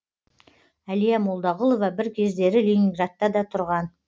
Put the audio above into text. әлия молдағұлова бір кездері ленинградта да тұрған